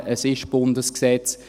es ist Bundesgesetz.